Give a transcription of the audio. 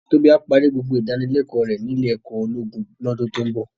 Tobi á pàri gbógbó idánilèkò rè ni ilé èkò ólógún lòdún tó n bò